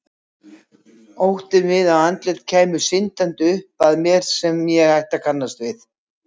Óttinn við að andlit kæmu syndandi upp að mér sem ég ætti að kannast við.